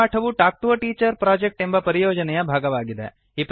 ಈ ಪಾಠವು talk to a teacher project ಎಂಬ ಪರಿಯೋಜನೆಯ ಭಾಗವಾಗಿದೆ